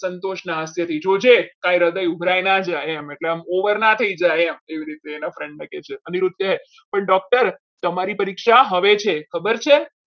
સંતોષના હસ્તે જોજે તારું હૃદય ઉભરાઈ ના જાય એમ એટલે આમ over ના થઈ જાય એમ એવી રીતે એના friend ને કહે છે પણ doctor તમારી પરીક્ષા આવે છે ખબર છે.